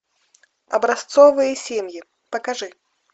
образцовые семьи покажи